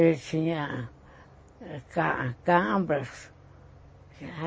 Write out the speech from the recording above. Ele tinha ca cabras.